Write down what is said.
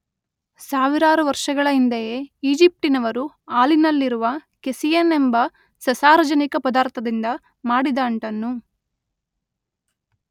ಸಾವಿರಾರು ವರ್ಷಗಳ ಹಿಂದೆಯೇ ಈಜಿಪ್ಟಿನವರು ಹಾಲಿನಲ್ಲಿರುವ ಕೇಸಿಯಿನ್ ಎಂಬ ಸಸಾರಜನಕ ಪದಾರ್ಥದಿಂದ ಮಾಡಿದ ಅಂಟನ್ನು